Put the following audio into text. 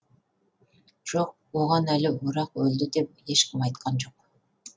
жоқ оған әлі орақ өлді деп ешкім айтқан жоқ